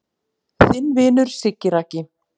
Þinn vinur Siggi Raggi